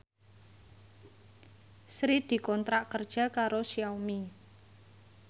Sri dikontrak kerja karo Xiaomi